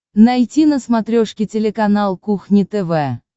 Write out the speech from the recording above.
найти на смотрешке телеканал кухня тв